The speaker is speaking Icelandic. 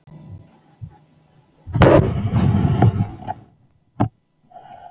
Hædý, hvað er í matinn?